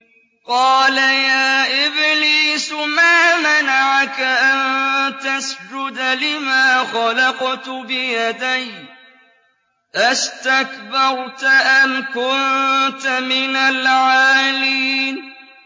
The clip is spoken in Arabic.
قَالَ يَا إِبْلِيسُ مَا مَنَعَكَ أَن تَسْجُدَ لِمَا خَلَقْتُ بِيَدَيَّ ۖ أَسْتَكْبَرْتَ أَمْ كُنتَ مِنَ الْعَالِينَ